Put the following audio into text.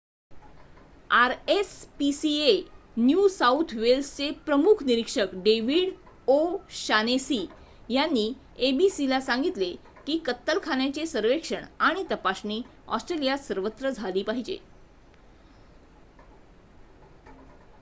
RSPCA new south वेल्सचे प्रमुख निरीक्षक डेविड ओ' शानेसी यांनी एबीसीला सांगितले की कत्तलखान्यांचे सर्वेक्षण आणि तपासणी ऑस्ट्रेलियात सर्वत्र झाली पाहिजे